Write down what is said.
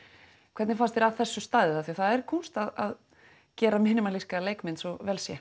hvernig fannst þér að þessu staðið af því að það er kúnst að gera leikmynd svo vel sé